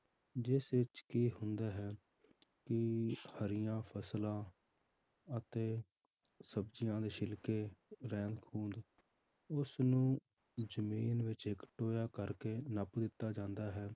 ਜਿਸ ਵਿੱਚ ਕੀ ਹੁੰਦਾ ਹੈ ਕਿ ਹਰੀਆਂ ਫਸਲਾਂ ਅਤੇ ਸਬਜ਼ੀਆਂ ਦੇ ਛਿਲਕੇ ਰਹਿੰਦ ਖੂੰਹਦ ਉਸਨੂੰ ਜ਼ਮੀਨ ਵਿੱਚ ਇੱਕ ਟੋਇਆ ਕਰਕੇ ਨੱਪ ਦਿੱਤਾ ਜਾਂਦਾ ਹੈ,